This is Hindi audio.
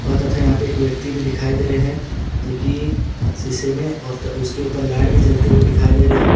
तथा यहां पे एक व्यक्ति भी दिखाई दे रहे हैं जो कि शीशे में और त उसके ऊपर लाइट भी जलते हुए दिखाई दे रहे हैं।